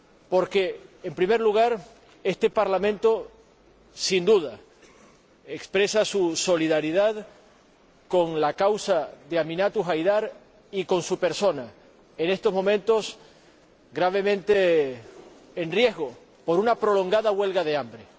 Porque, en primer lugar, este Parlamento, sin duda, expresa su solidaridad con la causa de Aminatu Haidar y con su persona, en estos momentos en grave riesgo por una prolongada huelga de hambre.